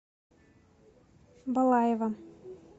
балаева